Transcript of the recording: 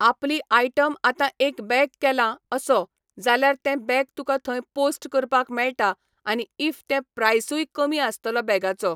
आपली आयटम आतां एक बॅग केला असो, जाल्यार तें बॅग तुका थंय पोस्ट करपाक मेळटा आनी इफ ते प्रायसूय कमी आसतलो बॅगाचो.